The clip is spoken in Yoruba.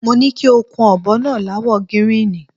Mo ni kí o kun ò̩bo̩ náà láwo̩ gíríìnì.